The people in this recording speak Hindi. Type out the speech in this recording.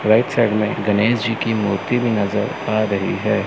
राइट साइड में गणेश जी की मूर्ति नजर आ रही है।